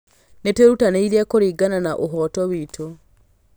Nĩtwerutanĩirie kũringana na ũhooto witũ